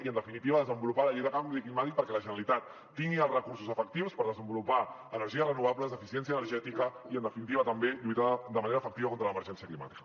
i en definitiva desenvolupar la llei de canvi climàtic perquè la generalitat tingui els recursos efectius per desenvolupar energies renovables d’eficiència energètica i en definitiva també lluitar de manera efectiva contra l’emergència climàtica